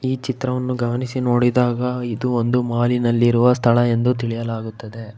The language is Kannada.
ಈ ಚಿತ್ರವನ್ನು ಗಮನಿಸಿ ನೋಡಿದಾಗ ಇದು ಒಂದು ಮಾಲಿನಲ್ಲಿ ಇರುವ ಸ್ಥಳ ಎಂದು ತಿಳಿಯಲಾಗುತ್ತದೆ.